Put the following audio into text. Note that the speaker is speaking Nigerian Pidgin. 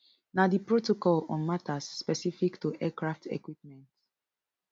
na di protocol on matters specific to aircraft equipment